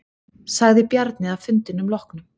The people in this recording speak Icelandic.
Sagði Bjarni að fundinum loknum.